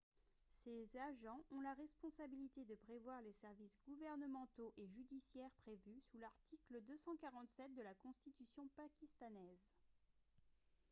ces agents ont la responsabilité de prévoir les services gouvernementaux et judiciaires prévus sous l'article 247 de la constitution pakistanaise